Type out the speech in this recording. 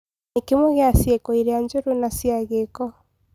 Nĩ kĩmwe gĩa ciĩko iria njũru na cia gĩko